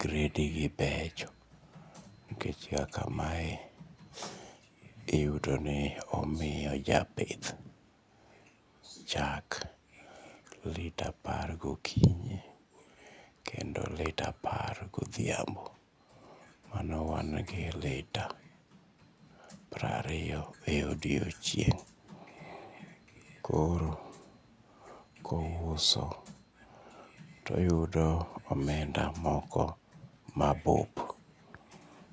gredigi becho nikech kaka mae iyudoni omiyo japith chak lita apar gokinyi kendolita apar godhiambo koro wan gi lita piero ariyo. Koro ka ouso to oyudo omenda moko mabup.